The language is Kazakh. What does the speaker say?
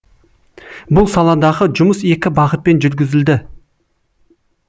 бұл саладағы жұмыс екі бағытпен жүргізілді